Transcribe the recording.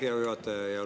Aitäh, hea juhataja!